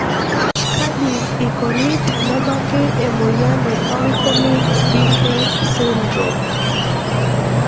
Kaji eikoni tenebaki emoyian e Fanconi Bickel syndrome?